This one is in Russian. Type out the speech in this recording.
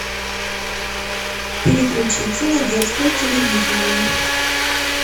переключиться на детское телевидение